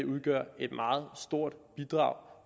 udgør et meget stort bidrag